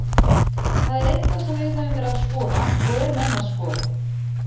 Það er eitthvað sem við höfum verið að skoða og erum enn að skoða.